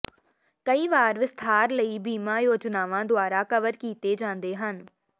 ਕਈ ਵਾਰ ਵਿਸਥਾਰ ਲਈ ਬੀਮਾ ਯੋਜਨਾਵਾਂ ਦੁਆਰਾ ਕਵਰ ਕੀਤੇ ਜਾਂਦੇ ਹਨ